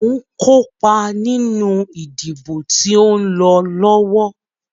Mo ǹ kópa nínú ìdìbò tó ń lọ lọ́wọ́.